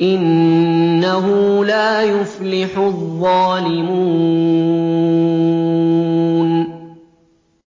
إِنَّهُ لَا يُفْلِحُ الظَّالِمُونَ